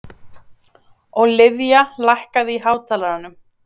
Ólivía, lækkaðu í hátalaranum.